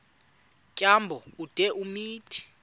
tyambo ude umthi